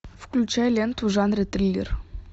включай ленту в жанре триллер